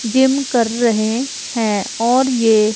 gym कर रहे हैं और ये--